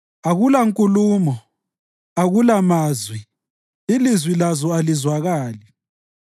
Akula nkulumo, akula mazwi ilizwi lazo alizwakali.